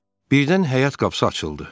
Birdən həyat qapısı açıldı.